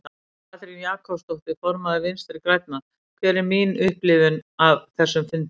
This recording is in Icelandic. Katrín Jakobsdóttir, formaður Vinstri grænna: Hver er mín upplifun af þessum fundi?